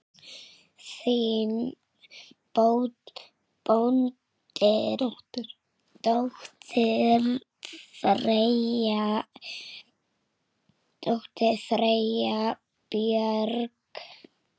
Þín dóttir, Freyja Björk.